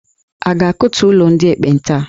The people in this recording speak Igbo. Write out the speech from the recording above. A ga-akụtu ụlọ ndị ekpenta a?